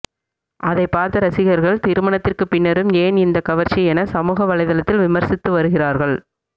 அதை பார்த்த ரசிகர்கள் திருமணத்திற்கு பின்னரும் ஏன் இந்த கவர்ச்சி என சமூக வலைதளத்தில் விமர்சித்து வருகிறார்கள்